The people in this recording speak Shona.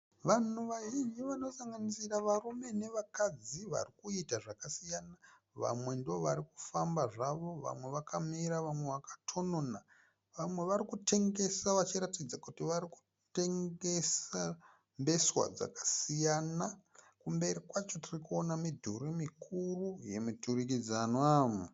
Vanhu vazhinji vanosanganisira varume navakadzi vari kuita zvakasiyana. Vamwe ndovari kufamba zvavo, vamwe vakamira, vamwe vakatonona, vamwe vari kutengesa vachiratidza kuti vari kutengesa mbeswa dzakasiyana. Kumberi kwacho tiri kuona midhuri mikuru yemuturikidzanwa.